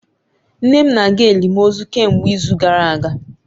Nne m na-aga elimozu kemgbe izu gara aga